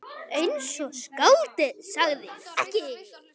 Eins og skáldið sagði ekki.